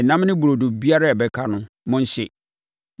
Ɛnam ne burodo biara a ɛbɛka no, monhye.